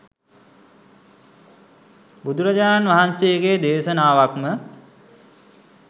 බුදුරජාණන් වහන්සේගේ දේශනාවක්ම